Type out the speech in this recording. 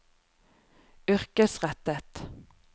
yrkesrettet